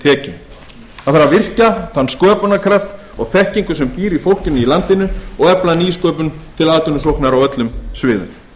tekjum það þarf að virkja þann sköpunarkraft og þekkingu sem býr í fólkinu í landinu og efla nýsköpun til atvinnusóknar á öllum sviðum